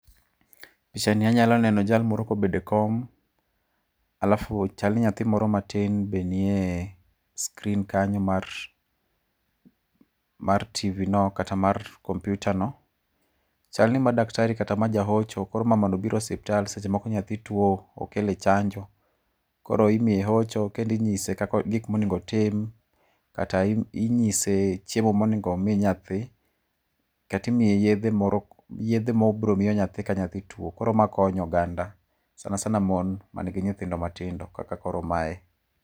Pichani anyalo neno jal moro kobedo e kom, alafu chal ni nyathi moro matin be nie screen kanyo mar mar TV no kata mar kompiuta no. Chal ni ma daktari kata ma jahocho koro mamano obiro osiptal, seche moko nyathi tuo, okel e chanjo. Koro imiye hocho kendo inyise gik monego otim. Kata inyise chiemo monego omi nyathi, kata imiye yedhe mo yedhe mobiro miyo nyathi ka nyathi tuo. Koro ma konyo oganda sana sana mon man gi nyithindo matindo kaka koro mae.